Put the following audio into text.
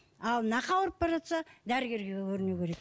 ал нақ ауырып бара жатса дәрігерге көрінуі керек